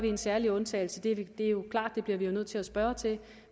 en særlig undtagelse er det jo klart vi bliver nødt til at spørge til